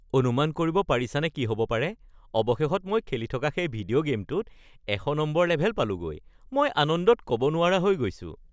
অনুমান কৰিব পাৰিছানে কি হ'ব পাৰে? অৱশেষত মই খেলি থকা সেই ভিডিঅ' গে'মটোত ১০০ নম্বৰ লেভেল পালোগৈ! মই আনন্দত ক'ব নোৱাৰা হৈ গৈছো। (General Z one)